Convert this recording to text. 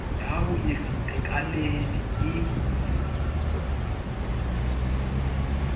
ya ho se itekanele e